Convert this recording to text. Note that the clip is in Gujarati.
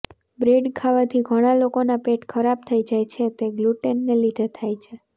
બ્રેડ ખાવાથી ઘણા લોકોના પેટ ખરાબ થઇ જાય છે તે ગ્લુટેનને લીધે થાય છે